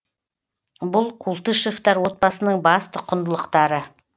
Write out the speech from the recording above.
бұл култышевтар отбасының басты құндылықтары